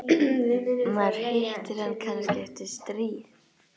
Maður hittir hann kannski eftir stríð.